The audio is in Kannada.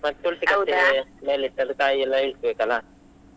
ಮತ್ತೆ ತುಳ್ಸಿ ಕಟ್ಟೆ ಮೇಲೆ ಇಟ್ಟದ್ದು ಕಾಯಿ ಅಲ್ಲ ಇಳಿಸ್ಬೇಕಲ್ಲಾ,